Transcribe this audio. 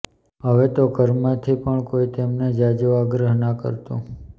હવે તો ઘરમાંથી પણ કોઈ તેમને ઝાઝો આગ્રહ ના કરતું